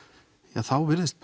þá virðist